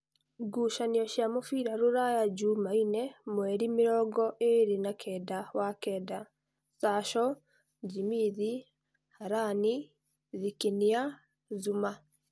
Ngucanio cia mũbira Ruraya Jumaine mweri mĩrongoĩrĩ na kenda wa-kenda: Sasho, Jĩmithi, Harani, Thikinia, Zuma